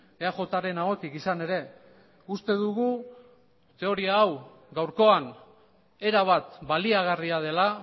eajren ahotik izan ere uste dugu teoria hau gaurkoan erabat baliagarria dela